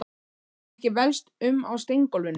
Getum ekki velst um á steingólfinu.